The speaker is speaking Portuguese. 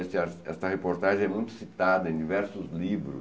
Esta reportagem é muito citada em diversos livros.